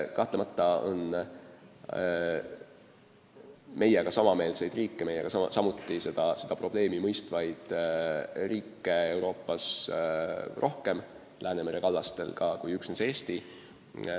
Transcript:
Kahtlemata on Läänemere kallastel teisigi meiega samameelseid, seda probleemi samal moel mõistvaid riike.